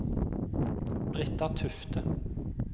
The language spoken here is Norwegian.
Britta Tufte